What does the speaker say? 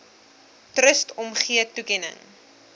trust omgee toekenning